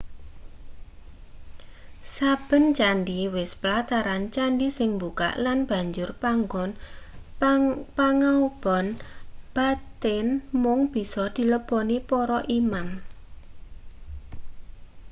saben candhi wis plataran candhi sing mbukak lan banjur panggon pangaoban batin mung bisa dileboni para imam